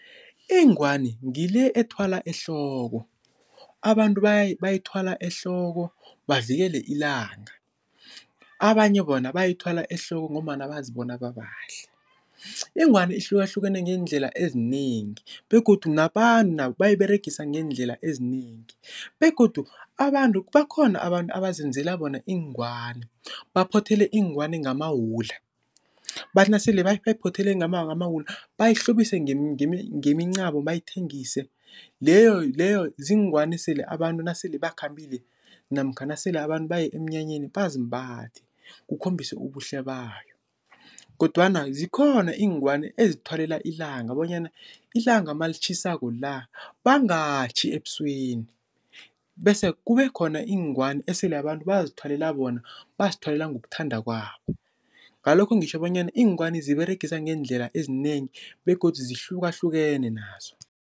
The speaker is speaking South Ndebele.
Ingwani ngile ethwala ehloko. Abantu bayithwala ehloko bavikela ilanga. Abanye bona bayithwala ehloko ngombana bazibona babahle. Ingwani ihlukahlukene ngeendlela ezinengi begodu nabantu nabo bayiberegisa ngeendlela ezinengi begodu abantu, bakhona abantu abazenzela bona iingwani, baphothele iingwani ngamawula. Bathi nasele bayiphothele ngamawula bayihlobise ngemincamo bayithengise. Leyo leyo ziingwani esele abantu nasele bakhambile namkha nasele abantu baye emnyanyeni bazimbathe, kukhombise ubuhle bayo. Kodwana zikhona iingwani ezithwalelwa ilanga bonyana ilanga malitjhisako la bangatjhi ebusweni, bese kube khona iingwani esele abantu bazithwalela bona, bazithwalela ngokuthanda kwabo. Ngalokho ngitjho bonyana iingwani ziberegiswa ngeendlela ezinengi begodu zihlukahlukene nazo.